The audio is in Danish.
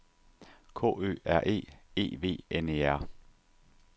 K Ø R E E V N E R